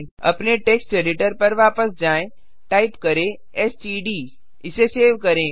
अपने text editor पर वापस जाएँ टाइप करें एसटीडी इसे सेव करें